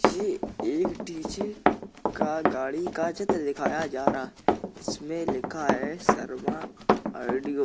ये एक डी.जे. का गाड़ी का चित्र दिखाई जा रहा इसमे लिखा है शर्मा औडियो ।